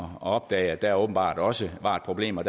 opdage at der åbenbart også var et problem og